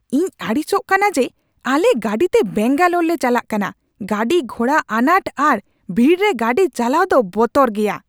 ᱤᱧ ᱟᱹᱲᱤᱥᱚᱜ ᱠᱟᱱᱟ ᱡᱮ ᱟᱞᱮ ᱜᱟᱹᱰᱤᱛᱮ ᱵᱮᱝᱜᱟᱞᱳᱨ ᱞᱮ ᱪᱟᱞᱟᱜ ᱠᱟᱱᱟ ᱾ ᱜᱟᱹᱰᱤᱼᱜᱷᱚᱲᱟ ᱟᱱᱟᱴ ᱟᱨ ᱵᱷᱤᱲ ᱨᱮ ᱜᱟᱹᱰᱤ ᱪᱟᱞᱟᱣ ᱫᱚ ᱵᱚᱛᱚᱨ ᱜᱮᱭᱟ ᱾